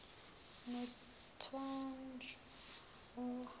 nothwanjawo